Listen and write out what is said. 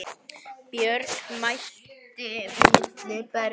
Björg mælti milli berja